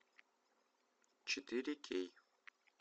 четыре кей